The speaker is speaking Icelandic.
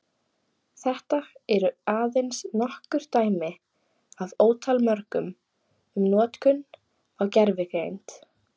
Þetta eru aðeins nokkur dæmi af ótal mörgum um notkun á gervigreind.